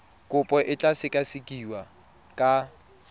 kopo e tla sekasekiwa ka